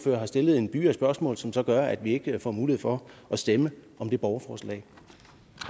har stillet en byge af spørgsmål som så gør at vi ikke får mulighed for at stemme om det borgerforslag